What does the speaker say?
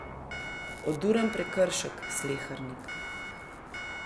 Oduren prekršek, Slehernik.